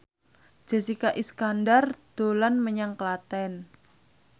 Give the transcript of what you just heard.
Jessica Iskandar dolan menyang Klaten